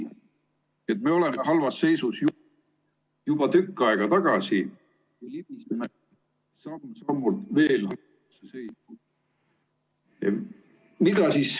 Nii et me olime halvas seisus juba tükk aega tagasi. ...